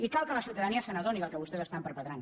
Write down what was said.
i cal que la ciutadania s’adoni del que vostès estan perpetrant